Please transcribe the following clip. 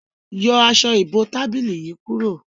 Yọ Aṣọ ìbotábílì yí kúrò!